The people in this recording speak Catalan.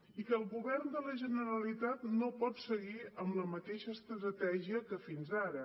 i que el govern de la generalitat no pot seguir amb la mateixa estratègia que fins ara